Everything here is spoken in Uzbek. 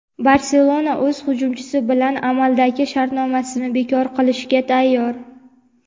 "Barselona" o‘z hujumchisi bilan amaldagi shartnomasini bekor qilishga tayyor;.